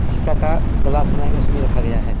शीशा का ग्लास बना के उसमें रखा गया है।